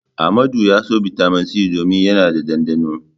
Amadu na son Bitamin C domin yana da ɗanɗano.